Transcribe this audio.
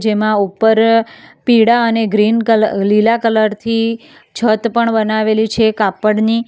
એમાં ઉપર પીડા અને ગ્રીન કલર લીલા કલરથી છત પણ બનાવેલી છે કાપડની.